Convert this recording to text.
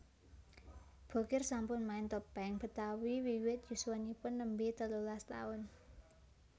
Bokir sampun main topeng Betawi wiwit yuswanipun nembé telulas taun